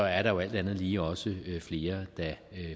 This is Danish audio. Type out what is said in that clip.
er der jo alt andet lige også flere der